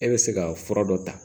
E bɛ se ka fura dɔ ta